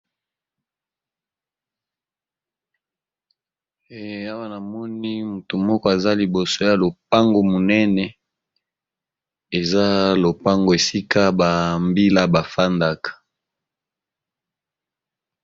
Awa namoni moto moko atelemi liboso ya lopango munene eza esika ba mbila bafandaka